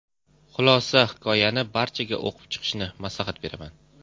Xulosa Hikoyani barchaga o‘qib chiqishni maslahat beraman.